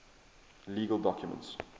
legal documents